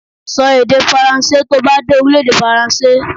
Sọ èdè faransé to bá dé Orílèdè Faransé